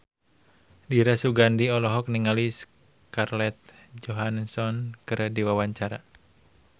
Dira Sugandi olohok ningali Scarlett Johansson keur diwawancara